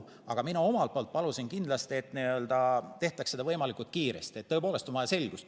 Aga mina omalt poolt palusin, et seda tehtaks võimalikult kiiresti, sest tõepoolest on vaja selgust.